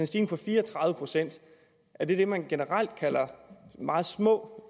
stigning på fire og tredive procent er det det man generelt kalder meget små